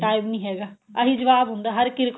time ਨੀ ਹੈਗਾ ਅਹੀ ਜਵਾਬ ਹੁੰਦਾ ਹਰ ਇੱਕ